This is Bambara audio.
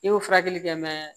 I bɛ furakɛli kɛ